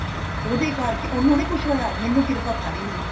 ਉਹਦੇ ਕਰਕੇ ਉਹਨੂੰ ਨੀ ਕੁੱਛ ਹੋਇਆ ਮੇਰੀ ਕਿਰਪਾ ਸਾਰੀ ਹੋਗੀ